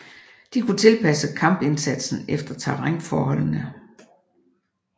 De kunne tilpasse kampindsatsen efter terrænforholdene